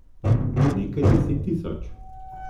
Nekaj deset tisoč.